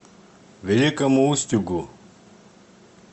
великому устюгу